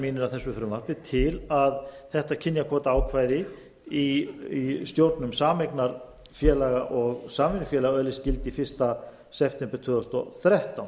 að þessu frumvarpi til að þetta kynjakvótaákvæði í stjórnum sameignarfélaga og samvinnufélaga öðlist gildi fyrsta september tvö þúsund og þrettán